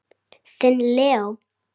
Þinn Leó.